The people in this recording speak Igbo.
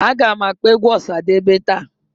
Agam akpọ egwu Osadebe taa